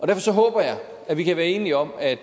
derfor håber jeg at vi kan være enige om at